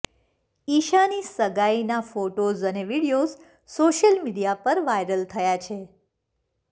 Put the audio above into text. ઈશાની સગાઈના ફોટોઝ અને videos social media પર વાઈરલ થયા છે